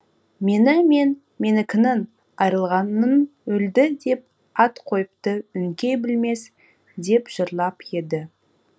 мені мен менікінің айырылғанын өлді деп ат қойыпты өңкей білмес деп жырлап еді